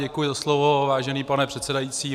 Děkuji za slovo, vážený pane předsedající.